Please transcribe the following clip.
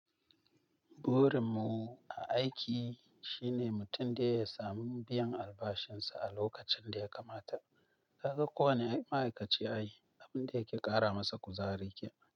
Borin mu a aiki shine mutum da ya samu biyan albashinsa a lokacin da ya kamata. Ka ga ko wane ma'aikaci ya yi, abin da yake ƙara masa kuzari ke.